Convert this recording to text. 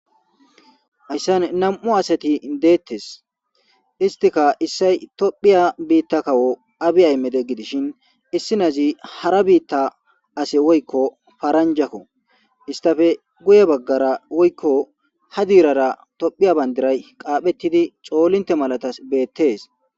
hayssan nam7u asati deettes istika issay tophiya biitta kawo abi ay mede gidishin issinazi hara biitta ase woykko faranjakko istafe guye baggara woykko ha diirara tophiya bandiray qaaphettidi coolinte malatas beettees